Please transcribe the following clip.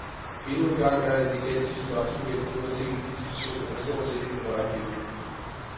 Endnu engang er en gigantisk lottogevinst gået til en af disse personer, der stort set ikke vil røre pengene.